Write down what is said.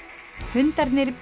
hundarnir